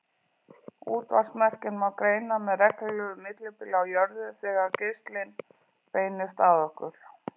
Útvarpsmerkin má greina með reglulegu millibili á jörðu þegar geislinn beinist að okkur.